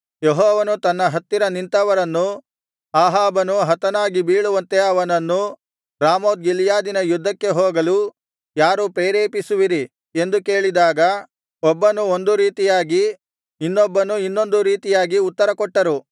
ಯೆಹೋವನು ತನ್ನ ಹತ್ತಿರ ನಿಂತವರನ್ನು ಅಹಾಬನು ಹತನಾಗಿ ಬೀಳುವಂತೆ ಅವನನ್ನು ರಾಮೋತ್ ಗಿಲ್ಯಾದಿನ ಯುದ್ಧಕ್ಕೆ ಹೋಗಲು ಯಾರು ಪ್ರೇರೇಪಿಸುವಿರಿ ಎಂದು ಕೇಳಿದಾಗ ಒಬ್ಬನು ಒಂದು ರೀತಿಯಾಗಿ ಇನ್ನೊಬ್ಬನು ಇನ್ನೊಂದು ರೀತಿಯಾಗಿ ಉತ್ತರಕೊಟ್ಟರು